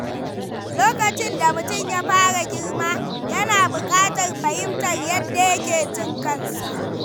Lokacin da mutum ya fara girma, yana buƙatar fahimtar yadda yake jin kansa.